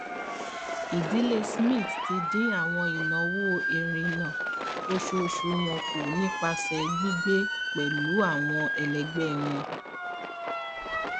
ìdílé smith ti dín àwọn ìnáwó ìrìnnà oṣooṣù wọn kù nípasẹ gbígbé pẹlú àwọn ẹlẹgbẹ wọn